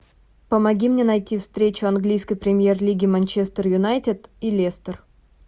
помоги мне найти встречу английской премьер лиги манчестер юнайтед и лестер